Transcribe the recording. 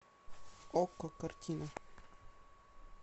окко картина